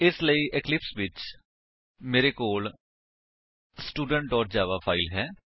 ਇਸ ਲਈ ਇਕਲਿਪਸ ਵਿੱਚ ਮੇਰੇ ਕੋਲ ਸਟੂਡੈਂਟ ਜਾਵਾ ਫਾਇਲ ਹੈ